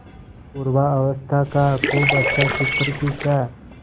पूर्वावस्था का खूब अच्छा चित्र खींचा